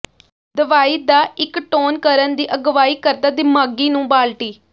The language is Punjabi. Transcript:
ਦਵਾਈ ਦਾ ਇੱਕ ਟੋਨ ਕਰਨ ਦੀ ਅਗਵਾਈ ਕਰਦਾ ਿਦਮਾਗ਼ੀ ਨੂੰ ਬਾਲਟੀ